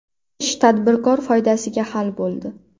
Ish tadbirkor foydasiga hal bo‘ldi.